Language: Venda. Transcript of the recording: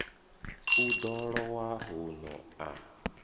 u ḓo lowa huno a